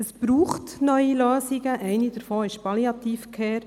Es braucht neue Lösungen, eine davon ist Palliative Care.